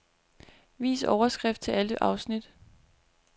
Vis overskrift til alle afsnit.